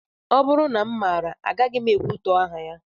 Ọ bụrụ na m maara, agaghị m ekwutọ aha ya